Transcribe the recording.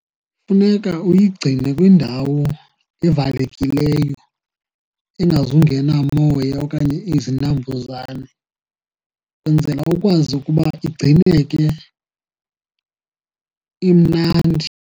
Funeka uyigcine kwindawo evalekileyo engazungena moya okanye izinambuzane, wenzela ukwazi ukuba igcineke imnandi.